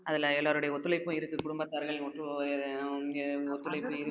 அதுல எல்லாருடைய ஒத்துழைப்பும் இருக்கு குடும்பத்தார்கள் இல்லை